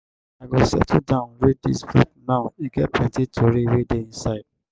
i go settle down read dis book now e get plenty tori wey dey inside.